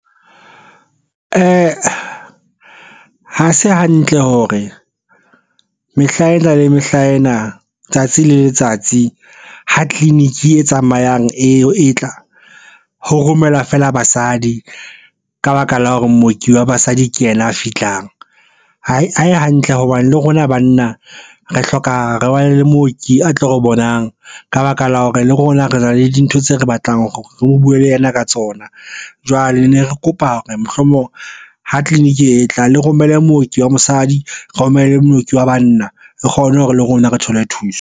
Ha se hantle hore mehla ena le mehla ena tsatsi le letsatsi ho clinic e tsamayang eo e tla ho romela fela basadi ka baka la hore mooki wa basadi ke ena a fihlang ae hantle hobane le rona banna re hloka re wane le mooki a tlo re bonang ka baka la hore le rona re na le dintho tse re batlang re o buwe le yena ka tsona. Jwale ne re kopa re mohlomong ho clinic e tlang le romele mooki wa mosadi romele mooki wa banna re kgone hore le rona re thole thuso.